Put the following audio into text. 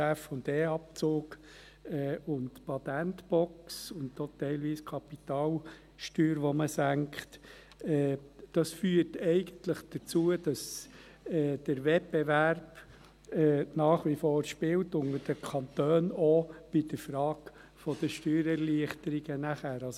Übrigens führen die meisten Kantone, die allermeisten, die Instrumente mit den vollen Möglichkeiten ein, namentlich den Forschungs- und Entwicklungsabzug und die Patentbox, teilweise auch die Kapitalsteuer, die gesenkt wird.